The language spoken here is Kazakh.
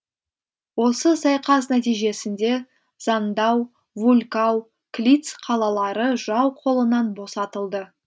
осы сайқас нәтижесінде зандау вулькау клитц қалалары жау қолынан босатылды